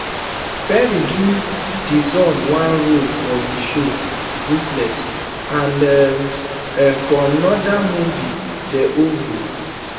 perry give dixon one role for im show ruthless and um um for anoda um movie the oval